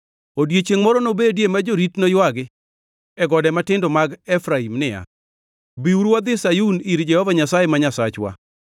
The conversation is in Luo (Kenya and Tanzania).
Odiechiengʼ moro nobedie ma jorit noywagi e gode matindo mag Efraim niya, ‘Biuru wadhi Sayun, ir Jehova Nyasaye ma Nyasachwa.’ ”